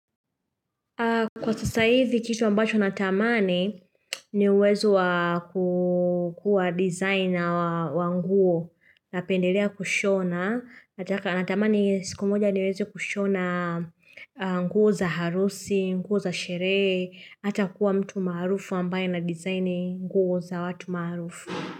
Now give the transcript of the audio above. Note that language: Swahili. Kwa sasa hizi kitu ambacho natamani niwezo kukua designer wa nguo na pendelea kushona, natamani siku moja niwezo kushona nguo za harusi, nguo za sherehe, hata kuwa mtu maarufu ambayo na designer nguo za watu maarufu.